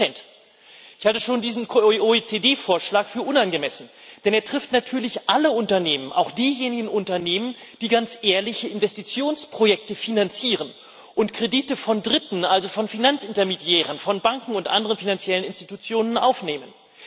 30 Ich halte schon diesen OECD Vorschlag für unangemessen, denn er trifft natürlich alle Unternehmen, auch diejenigen Unternehmen, die ganz ehrliche Investitionsprojekte finanzieren und Kredite von Dritten also von Finanzintermediären, von Banken und anderen finanziellen Institutionen aufnehmen.